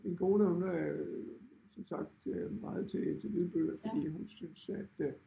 Min kone hun er som sagt meget til til lydbøger fordi hun synes at øh